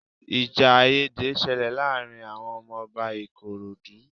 Ìjà àìyédè ṣẹlẹ̀ láàárín àwọn ọmọ Ọba Ikorodu